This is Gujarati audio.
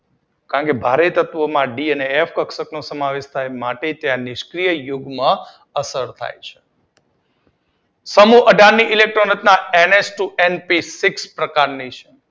કારણ કે ભારે તત્વો માં ડી અને એફ એક્ષક નો સમાવેશ થાય છે માટે ત્યાં સ્કીન યુગ્મ અસર થાય છે. સમૂહ અઢાર ની ઇલેક્ટ્રોન રચના એનએચ ટુ એનપી સિક્સ પ્રકારની છે.